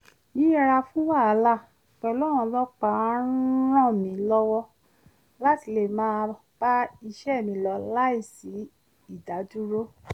yíyẹra fún wàhálà pẹ̀lú àwọn ọlọ́pàá ń ràn mí lọ́wọ́ láti lè máa bá iṣẹ́ mi lọ láìsí ìdádúró